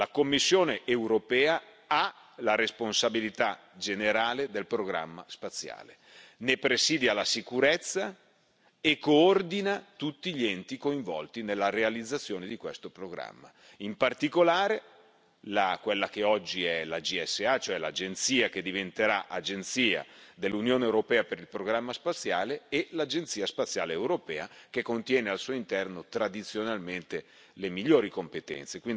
La Commissione europea ha la responsabilità generale del programma spaziale, ne presidia la sicurezza e coordina tutti gli enti coinvolti nella realizzazione di questo programma, in particolare quella che oggi è la GSA, cioè l'Agenzia che diventerà Agenzia dell'Unione europea per il programma spaziale, e l'Agenzia spaziale europea, che contiene al suo interno, tradizionalmente, le migliori competenze.